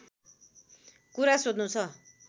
कुरा सोध्नु छ